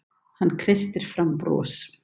Hann kreistir fram bros.